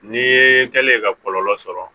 N'i ye kɛlen ye ka kɔlɔlɔ sɔrɔ